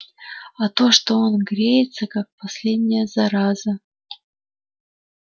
а то что он греется как последняя зараза